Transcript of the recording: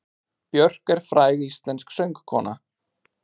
Björk er fræg íslensk söngkona.